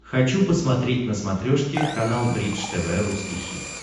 хочу посмотреть на смотрешке канал бридж тв русский хит